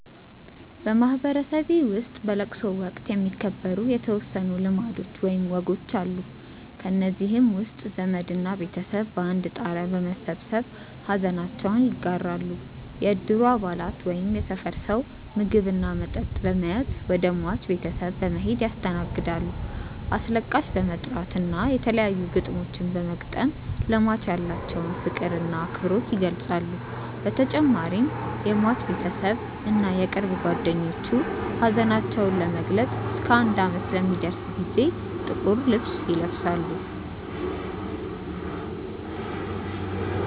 በማህበረሰቤ ውስጥ በለቅሶ ወቅት የሚከበሩ የተወሰኑ ልማዶች ወይም ወጎች አሉ። ከእነዚህም ውስጥ ዘመድ እና ቤተሰብ በአንድ ጣሪያ በመሰብሰብ ሐዘናቸውን ይጋራሉ፣ የእድሩ አባላት ወይም የሰፈር ሰው ምግብ እና መጠጥ በመያዝ ወደ ሟች ቤተሰብ በመሔድ ያስተናግዳሉ፣ አስለቃሽ በመጥራት እና የተለያዩ ግጥሞችን በመግጠም ለሟች ያላቸውን ፍቅር እና አክብሮት ይገልፃሉ በተጨማሪም የሟች ቤተሰብ እና የቅርብ ጓደኞቹ ሀዘናቸውን ለመግለፅ እስከ አንድ አመት ለሚደርስ ጊዜ ጥቁር ልብስ ይለብሳሉ።